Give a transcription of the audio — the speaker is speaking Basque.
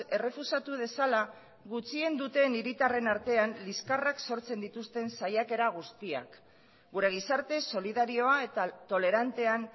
errefusatu dezala gutxien duten hiritarren artean liskarrak sortzen dituzten saiakera guztiak gure gizarte solidarioa eta tolerantean